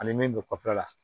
Ani min bɛ kɔfɛla la